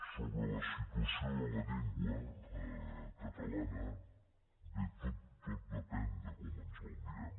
sobre la situació de la llengua catalana bé tot depèn de com ens la mirem